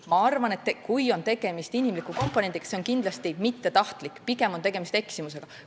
Ma arvan, et kui tegemist on inimkomponendiga, siis see on kindlasti olnud mittetahtlik, pigem on olnud tegemist eksimusega.